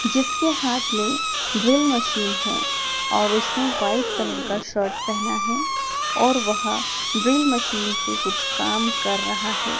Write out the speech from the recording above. जिसके हाथ में ड्रिल मशीन है और उसने व्हाइट कलर का शर्ट पहना है और वह ड्रिल मशीन से कुछ काम कर रहा है।